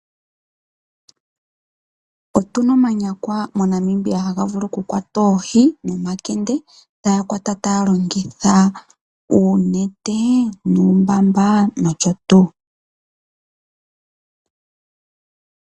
Otu na omanyakwa moNamibia haga vulu okukwata oohi nomakende, taya kwata taya longitha uunete nuumbamba nosho tuu.